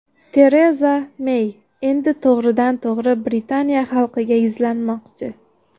Tereza Mey endi to‘g‘ridan tog‘ri Britaniya xalqiga yuzlanmoqchi.